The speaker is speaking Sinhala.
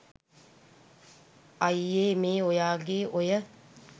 අයියෙ මේ ඔයාගෙ ඔය